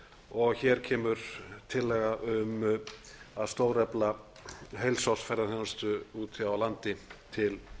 og hér kemur tillaga um að stórefla heilsársferðaþjónustu úti á landi til